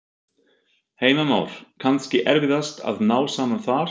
Heimir Már: Kannski erfiðast að ná saman þar?